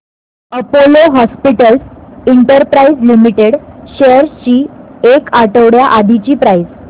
Apollo hospitals enterprise limited shares ची एक आठवड्या आधीची प्राइस